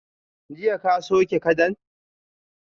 Jiya ka sauke kadan?